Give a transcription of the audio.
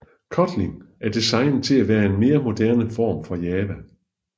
Kotlin er designet til at være en mere moderne form for Java